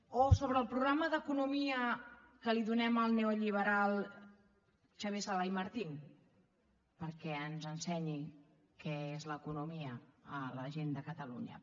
o sobre el programa d’economia que li donem al neolliberal xavier sala i martín perquè ens ensenyi què és l’economia a la gent de catalunya